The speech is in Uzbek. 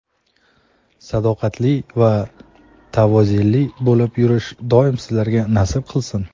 sadoqatli va tavozeli bo‘lib yurish doim sizlarga nasib qilsin.